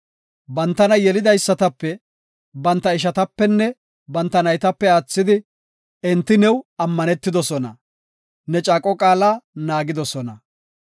Bantana yelidaysatape, banta ishatapenne banta naytape aathidi, enti new ammanetidosona; ne caaqo qaala naagidosona.